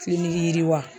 Fili yiriwa